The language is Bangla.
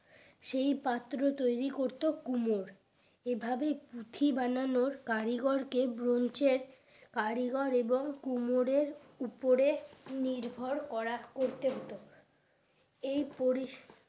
সেই পাত্র তৈরি করত কুমোর এভাবে পুঁথি বানানোর কারিগরকে ব্রঞ্চের কারিগর এবং কুমোরের উপরে নির্ভর করা করতে হতো এই পরিস